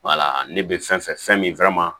ne bɛ fɛn fɛn min